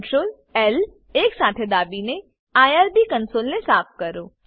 Ctrl L એકસાથે દાબીને IRB કંસોલને સાફ કરો